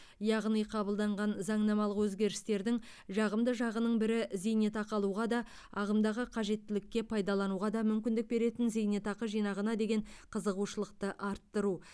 яғни қабылданған заңнамалық өзгерістердің жағымды жағының бірі зейнетақы алуға да ағымдағы қажеттілікке пайдалануға да мүмкіндік беретін зейнетақы жинағына деген қызығушылықты арттыру